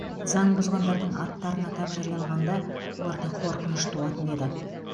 заң бұзғандардың аттарын атап жариялағанда оларда қорқыныш туатын еді